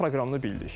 Nüvə proqramını bildik.